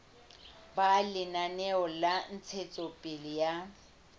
ba lenaneo la ntshetsopele ya